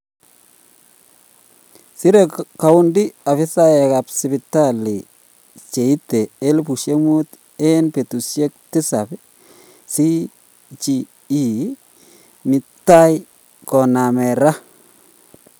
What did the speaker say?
Sirek county afisaek ap sipitali cheite 5000 en petusiek tisap cge mitai konamen Ra.